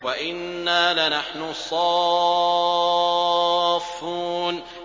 وَإِنَّا لَنَحْنُ الصَّافُّونَ